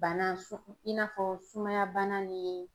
Bana su i n'a fɔ sumaya bana ni